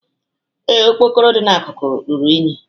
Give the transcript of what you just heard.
Ee, okpokoro dị n'akụkụ ruru unyi